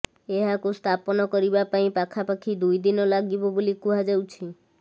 ଏହାକୁ ସ୍ଥାପନ କରିବା ପାଇଁ ପାଖାପାଖି ଦୁଇ ଦିନ ଲାଗିବ ବୋଲି କୁହାଯାଉଛି